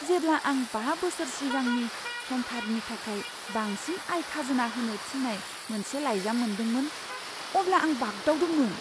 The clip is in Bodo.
जेब्ला आं बा बोसोर सिगांनि समफारिनि थाखाय बांसिन आय खाजोना होनो थिन्नाय मोनसे लाइजाम मोनदोंमोन, अब्ला आं बाग्दावदोंमोन।